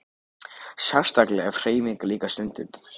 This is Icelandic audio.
Sérstaklega ef hreyfing er líka stunduð.